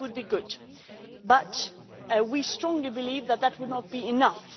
this would be good, but we strongly believe that it would not be enough